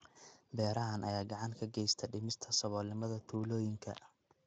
Beerahan ayaa gacan ka geysta dhimista saboolnimada tuulooyinka.